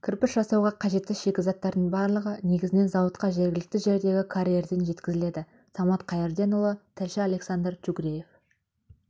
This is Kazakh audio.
кірпіш жасауға қажетті шикізаттардың барлығы негізінен зауытқа жергілікті жердегі карьерден жеткізіледі самат қайырденұлы тілші александр чугреев